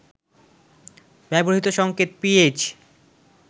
ব্যবহৃত সংকেত পিএইচ